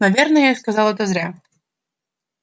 наверное я сказал это зря